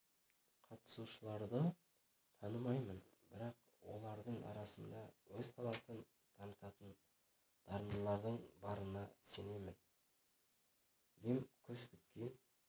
қатысушыларды лі танымаймын бірақ олардың арасында өз талантын танытатын дарындылардың барына сенемін лем көз тіккен